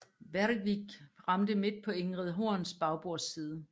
Bergvik ramte midt på Ingrid Horns bagbordsside